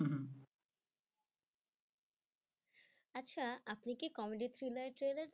আচ্ছা আপনি কি comedy thriller এর trailer দেখেছেন?